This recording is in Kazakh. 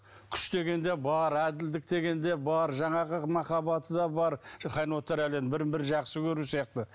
күш деген де бар әділдік деген де бар жаңағы махаббаты да бар хайуанаттар әлемі бірін бірі жақсы көру сияқты